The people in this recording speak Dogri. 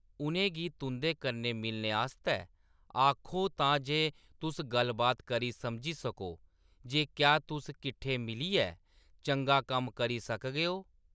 उʼनें गी तुंʼदे कन्नै मिलने आस्तै आखो तां जे तुस गल्ल-बात करी समझी सको जे क्या तुस कट्ठे मिलियै चंगा कम्म करी सकगेओ।